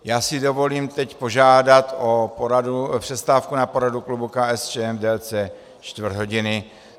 Já si dovolím teď požádat o přestávku na poradu klubu KSČM v délce čtvrt hodiny.